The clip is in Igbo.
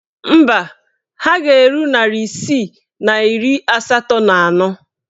Mba, ha ga-eru narị isii na iri asatọ na anọ.